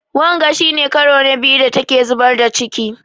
Wanga shi ne ƙaro na biyu da ta ke zubar da ciƙi.